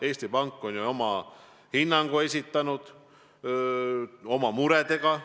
Eesti Pank on oma hinnangu esitanud, rääkinud oma muredest.